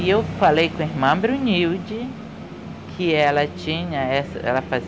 Aí eu falei com a irmã Brunilde, que ela tinha essa, ela fazia